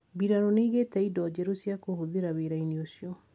Mbirarũ nĩigĩte indo njeru cia kũhũthira wĩra-inĩ ũcio